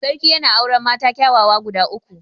Sarki yana auren mata kyawawa guda uku.